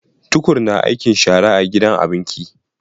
Tukur na aikin shara a gidan abinki